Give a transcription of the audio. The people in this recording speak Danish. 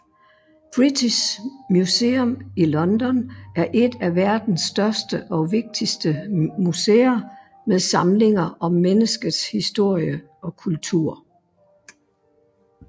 British Museum i London er et af verdens største og vigtigste museer med samlinger om menneskets historie og kultur